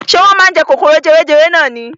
Ṣé wọ́n máa ń jẹ kòkòrò jewejewe nani.